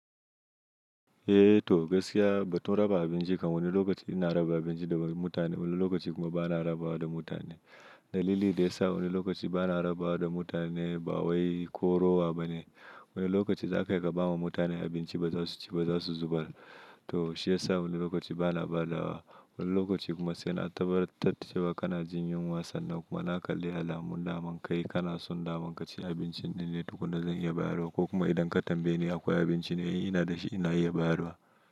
Eh to gaskiya ba tun raba abinci kam wani lokaci ina raba abinci da mutane wani lokaci kuma ba na rabawa da mutane. Dalili da ya sa wani lokaci ba na rabawa da mutane ba wai ko rowa bane. Wani lokaci za ka kai ka ba ma mutane abinci ba za su ci ba za su zubar. To shi ya sa wani lokaci ba na badawa. Wani lokaci kuma sai na tabbatar da cewa kana jin yunwa sannan kuma na kalli alamun daman kai kana son daman ka ci abinci ne, tuku na zan iya bayarwa ko kuma idan ka tambaye ni akwai abinci ne ina da shi ina iya bayarwa.